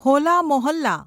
હોલા મોહલ્લા